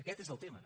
aquest és el tema